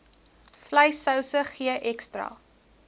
vleissouse gee ekstra